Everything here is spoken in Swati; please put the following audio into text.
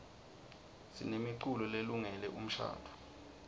sinemiculo lelungele umshadvo